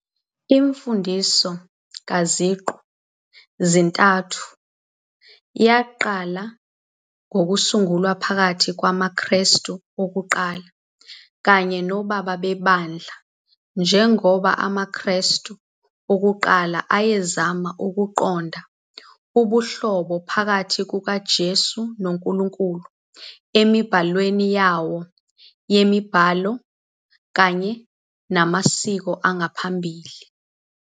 Imfundiso kaZiqu-zintathu yaqala ukusungulwa phakathi kwamaKristu okuqala kanye nobaba beBandla njengoba amaKristu okuqala ayezama ukuqonda ubuhlobo phakathi kukaJesu noNkulunkulu emibhalweni yawo yemibhalo kanye namasiko angaphambili.